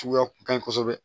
Suguya kun ka ɲi kosɛbɛ